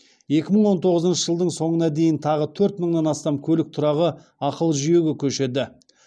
екі мың он тоғызыншы жылдың соңына дейін тағы төрт мыңнан астам көлік тұрағы ақылы жүйеге көшеді